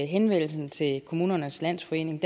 henvendelsen til kommunernes landsforening